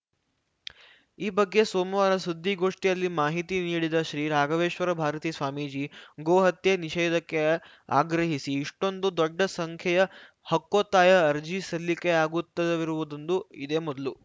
ಈ ಬಗ್ಗೆ ಸೋಮವಾರ ಸುದ್ದಿಗೋಷ್ಠಿಯಲ್ಲಿ ಮಾಹಿತಿ ನೀಡಿದ ಶ್ರೀ ರಾಘವೇಶ್ವರ ಭಾರತೀ ಸ್ವಾಮೀಜಿ ಗೋಹತ್ಯೆ ನಿಷೇಧಕ್ಕೆ ಆಗ್ರಹಿಸಿ ಇಷ್ಟೊಂದು ದೊಡ್ಡ ಸಂಖ್ಯೆಯ ಹಕ್ಕೊತ್ತಾಯ ಅರ್ಜಿ ಸಲ್ಲಿಕೆಯಾಗುತ್ತಿರುವುದು ಇದೇ ಮೊದಲು